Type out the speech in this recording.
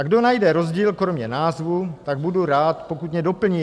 A kdo najde rozdíl kromě názvu, tak budu rád, pokud mě doplní.